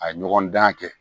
A ɲɔgɔn dan kɛ